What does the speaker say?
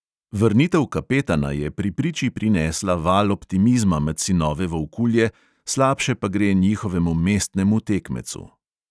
Vrnitev kapetana je pri priči prinesla val optimizma med sinove volkulje, slabše pa gre njihovemu mestnemu tekmecu.